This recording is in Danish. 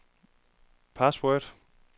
password